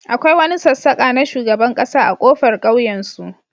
akwai wani sassaka na shugaban kasa a kofar kauyensu